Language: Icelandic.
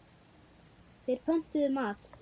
Þeir pöntuðu mat.